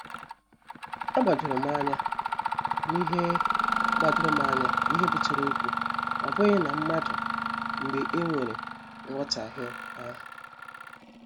A gbadorom anya n'ihe gbadorom anya n'ihe butere okwu, ọ bụghị na mmadụ, mgbe e nwere nhotahio ahụ.